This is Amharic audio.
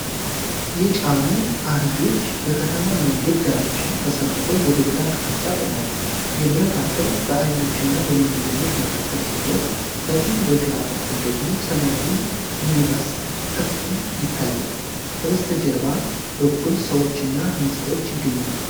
የጫኑ አህዮች በከተማ መንገድ ዳርቻ ተሰልፈው ወደ ግራ አቅጣጫ ቆመዋል። የብረት አጥር በአህዮቹና በመንገደኞች መካከል ሲኖር፣ ከፊት በግራ በኩል ደግሞ ሰማያዊ ሚኒባስ ክፍል ይታያል። ከበስተጀርባ በኩል ሰዎች እና ህንጻዎች ይገኛሉ።